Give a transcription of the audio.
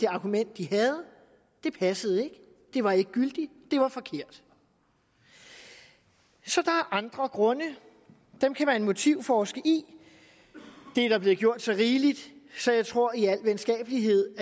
argument de havde passede ikke det var ikke gyldigt det var forkert så der er andre grunde og dem kan man motivforske i og det er der blevet gjort så rigeligt så jeg tror at jeg i al venskabelighed